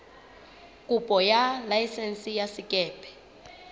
kopo ya laesense ya sekepe